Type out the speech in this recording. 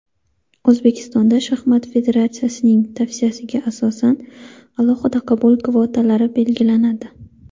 O‘zbekiston shaxmat federatsiyasining tavsiyasiga asosan alohida qabul kvotalari belgilanadi;.